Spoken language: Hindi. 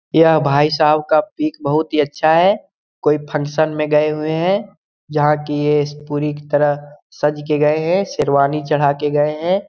यह भाई साहब का पिक बहुत ही अच्छा है कोई फंक्शन में गए हुए हैं जहाँ की ये सस पूरी तरह सज के गए हैं शेरवानी चढ़ा के गए हैं।